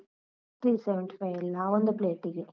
Three seventy five ಅಲ್ಲ ಒಂದು plate ಗೆ.